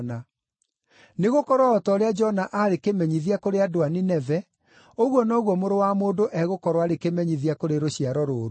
Nĩgũkorwo o ta ũrĩa Jona aarĩ kĩmenyithia kũrĩ andũ a Nineve, ũguo noguo Mũrũ wa Mũndũ egũkorwo arĩ kĩmenyithia kũrĩ rũciaro rũrũ.